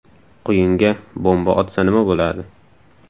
Quyunga bomba otsa nima bo‘ladi?.